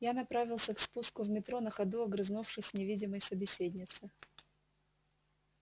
я направился к спуску в метро на ходу огрызнувшись с невидимой собеседнице